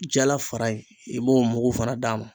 Jala fara in i b'o mugu fana d'a ma.